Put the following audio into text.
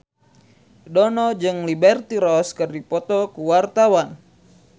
Dono jeung Liberty Ross keur dipoto ku wartawan